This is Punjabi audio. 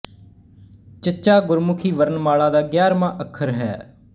ਚ ਗੁਰਮੁਖੀ ਵਰਣ ਮਾਲਾ ਦਾ ਗਿਆਰਵਾਂ ਅੱਖਰ ਹੈ